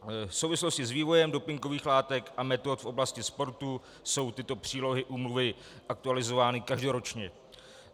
V souvislosti s vývojem dopingových látek a metod v oblasti sportu jsou tyto přílohy úmluvy aktualizovány každoročně.